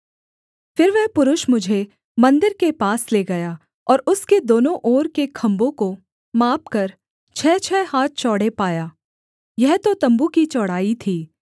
फिर वह पुरुष मुझे मन्दिर के पास ले गया और उसके दोनों ओर के खम्भों को मापकर छः छः हाथ चौड़े पाया यह तो तम्बू की चौड़ाई थी